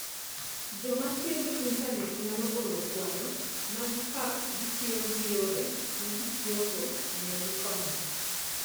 Joma tiyo gi Intanet nyalo oro kwayo maggi ka gitiyo gi yore ma ji tiyogo mondo gikonygi.